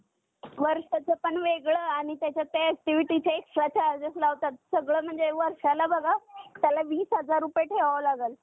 बघताना दिसतोय तर यासाठी पण आता आपण जागतिक पातळीवर बघितले तर मोठ्या प्रमाणात म्हणजे पॅरिस करार म्हणा, किंवा ज्या वेगळ्या वेगळ्या हवामान परिषद असतात त्यावर उपाय योजले जात आहेत.